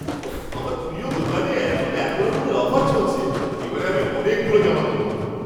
উফ্! আমার প্রিয় দোকানে এখন এতরকমের অফার চলছে! এবারে আমি অনেকগুলো জামা কিনবো।